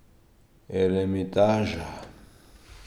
Eremitaža.